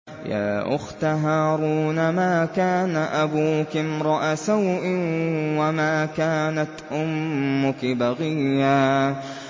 يَا أُخْتَ هَارُونَ مَا كَانَ أَبُوكِ امْرَأَ سَوْءٍ وَمَا كَانَتْ أُمُّكِ بَغِيًّا